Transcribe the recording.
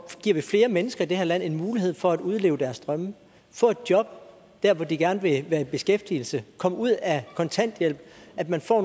giver flere mennesker i det her land en mulighed for at udleve deres drømme få et job hvor de gerne vil være i beskæftigelse komme ud af kontanthjælp at man får